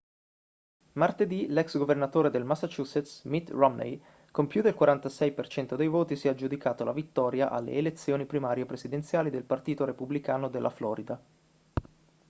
martedì l'ex governatore del massachusetts mitt romney con più del 46% dei voti si è aggiudicato la vittoria alle elezioni primarie presidenziali del partito repubblicano della florida